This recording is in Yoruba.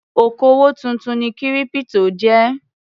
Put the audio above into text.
Òkòwò tuntun ni kírípítò jẹ́.